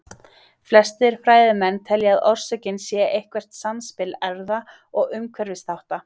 Flestir fræðimenn telja að orsökin sé eitthvert samspil erfða- og umhverfisþátta.